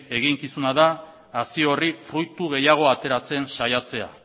eginkizuna da hazi horri fruitu gehiago ateratzen saiatzea